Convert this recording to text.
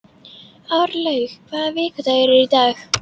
Árlaug, hvaða vikudagur er í dag?